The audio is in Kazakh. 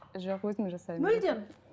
жоқ өзім жасаймын мүлдем